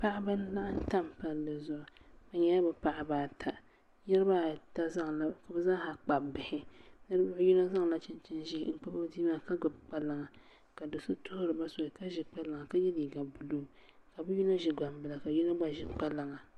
Paɣaba n laɣam tam palli zuɣu bi nyɛla bi paɣaba ata ka bi zaaha kpabi bihi ninvuɣu yino zaŋla chinchini ʒiɛ n kpabi o bia maa ka gbubi kpalaŋa ka do so tuhuriba soli ka ʒi kpalaŋa ka yɛ liiga buluu ka bi yino ʒi gbambila ka yino gba ʒi kpalaŋa